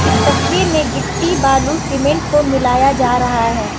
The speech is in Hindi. इस तस्वीर में गिट्टी बालू सीमेंट को मिलाया जा रहा है।